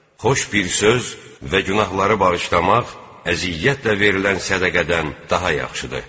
Xoş bir söz və günahları bağışlamaq, əziyyətlə verilən sədəqədən daha yaxşıdır.